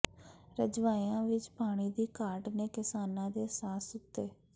ਰਜਵਾਹਿਆਂ ਵਿੱਚ ਪਾਣੀ ਦੀ ਘਾਟ ਨੇ ਕਿਸਾਨਾਂ ਦੇ ਸਾਹ ਸੂਤੇ